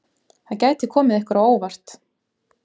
Það gæti komið ykkur á óvart!